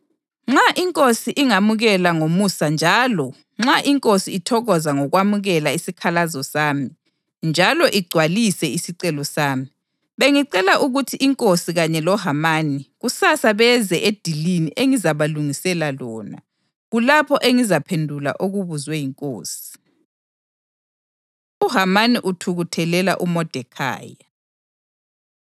Nxa inkosi ingamukela ngomusa njalo nxa inkosi ithokoza ngokwamukela isikhalazo sami njalo igcwalise isicelo sami, bengicela ukuthi inkosi kanye loHamani kusasa beze edilini engizabalungisela lona. Kulapho engizaphendula okubuzwe yinkosi.” UHamani Uthukuthelela UModekhayi